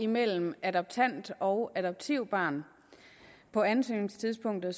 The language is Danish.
mellem adoptant og adoptivbarn på ansøgningstidspunktet